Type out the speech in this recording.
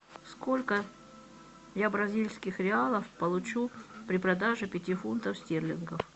сколько я бразильских реалов получу при продаже пяти фунтов стерлингов